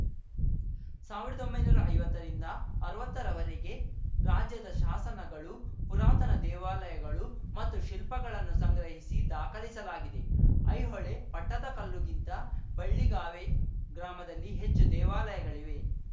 ಸಾವಿರ್ದೊಂಬೈನೂರಾ ಐವತ್ತ ರಿಂದ ಅರ್ವತ್ತರ ವರೆಗೆ ರಾಜ್ಯದ ಶಾಸನಗಳು ಪುರಾತನ ದೇವಾಲಯಗಳು ಮತ್ತು ಶಿಲ್ಪಗಳನ್ನು ಸಂಗ್ರಹಿಸಿ ದಾಖಲಿಸಲಾಗಿದೆ ಐಹೊಳೆ ಪಟ್ಟದಕಲ್ಲುಗಿಂತ ಬಳ್ಳಿಗಾವೆ ಗ್ರಾಮದಲ್ಲಿ ಹೆಚ್ಚು ದೇವಾಲಯಗಳಿವೆ